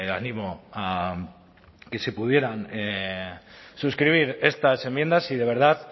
animo a que si pudieran suscribir estas enmiendas si de verdad